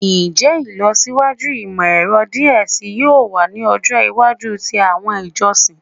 Njẹ ilọsiwaju imọ-ẹrọ diẹ sii yoo wa ni ọjọ iwaju ti awọn ijọsin?